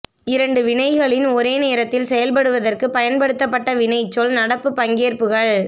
இரண்டு வினைகளின் ஒரே நேரத்தில் செயல்படுவதற்கு பயன்படுத்தப்பட்ட வினைச்சொல் நடப்பு பங்கேற்புகள்